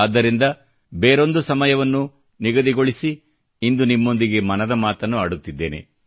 ಆದ್ದರಿಂದ ಒಂದು ಬೇರೆ ಸಮಯವನ್ನು ನಿಗದಿಗೊಳಿಸಿ ಇಂದು ನಿಮ್ಮೊಂದಿಗೆ ಮನದ ಮಾತನ್ನು ಆಡುತ್ತಿದ್ದೇನೆ